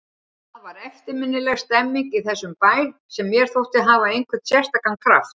Það var eftirminnileg stemmning í þessum bæ sem mér þótti hafa einhvern sérstakan kraft.